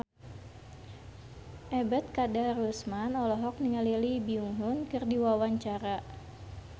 Ebet Kadarusman olohok ningali Lee Byung Hun keur diwawancara